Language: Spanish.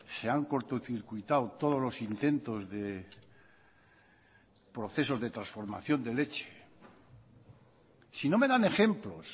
se han cortocircuitado todos los intentos de procesos de transformación de leche sino me dan ejemplos